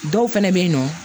Dɔw fɛnɛ be yen nɔ